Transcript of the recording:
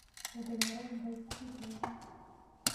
Eteng'eraki nkajijik pookin.